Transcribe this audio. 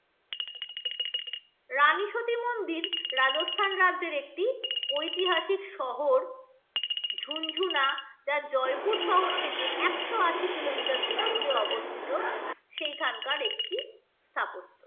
রানী শ্রুতি মন্দির, রাজস্থান রাজ্যের একটি ঐতিহাসিক শহর ঝুনঝুনা যা জয়পুর শহর থেকে একশো-আশি kilometer দূরত্বে অবস্থিত সেইখানকার একটি স্থাপত্য।